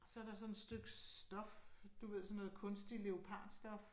Så der sådan et stykke stof, du ved sådan noget kunstig leopardstof